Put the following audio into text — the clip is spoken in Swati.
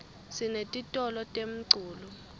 sinetitolo temculo